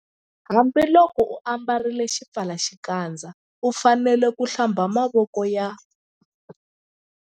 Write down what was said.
Hambiloko u ambarile xipfalaxikandza u fanele ku- Hlamba mavoko ya.